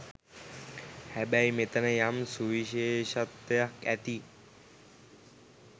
හැබැයි මෙතැන යම් සුවිශේෂත්වයක් ඇතියි